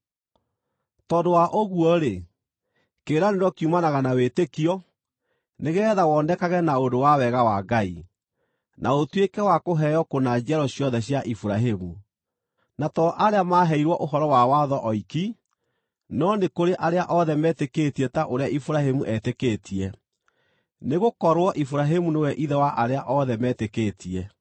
Tondũ wa ũguo-rĩ, kĩĩranĩro kiumanaga na wĩtĩkio, nĩgeetha wonekage na ũndũ wa wega wa Ngai, na ũtuĩke wa kũheo kũna njiaro ciothe cia Iburahĩmu, na to arĩa maaheirwo ũhoro wa watho oiki, no nĩ kũrĩ arĩa othe metĩkĩtie ta ũrĩa Iburahĩmu eetĩkĩtie. Nĩgũkorwo Iburahĩmu nĩwe ithe wa arĩa othe metĩkĩtie.